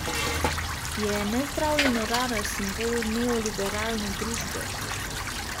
Je nezdravljena rana simbol neoliberalne družbe?